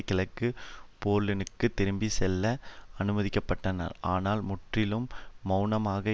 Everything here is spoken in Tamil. கிழக்கு பேர்லினுக்கு திரும்பி செல்ல அனுமதிக்கப்பபட்டனர் ஆனால் முற்றிலும் மெளனமாக